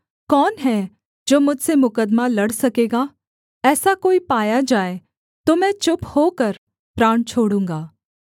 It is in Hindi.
कौन है जो मुझसे मुकद्दमा लड़ सकेगा ऐसा कोई पाया जाए तो मैं चुप होकर प्राण छोड़ूँगा